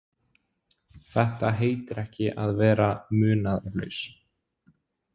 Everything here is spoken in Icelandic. Þetta heitir ekki að vera munaðarlaus.